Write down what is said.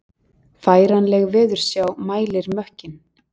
Færanleg veðursjá mælir mökkinn